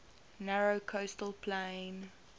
narrow coastal plain